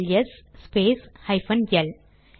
LS space hyphen L